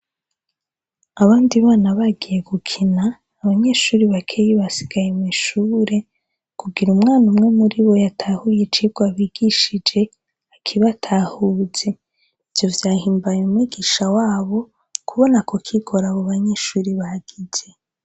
Abandi bana bagiye gukina abanyeshuri bakeya basigaye mw'ishuri kugira umwana umwe muri bo yatahuye icirwa bigishije akibatahuze ivyo vyahimbaye mwigisha wabo kubona ako kigoro abo banyeshuri bagize.